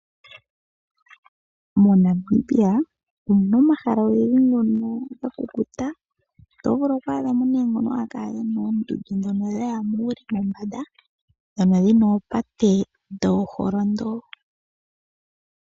MoNamibia omu na omahala ogendji ngono ga kukuta. Oto vulu oku adha mo ngono ge na oondundu dha ya muule mombanda ndhono dhi na oopate dhooholondo.